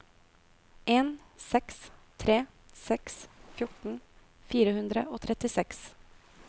en seks tre seks fjorten fire hundre og trettiseks